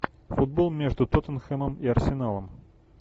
футбол между тоттенхэмом и арсеналом